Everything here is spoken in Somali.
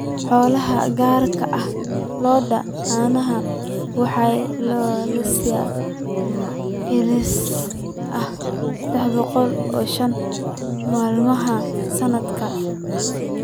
Xoolaha, gaar ahaan lo'da caanaha, waxaa la lisaa celcelis ahaan 305 maalmood sanadkii.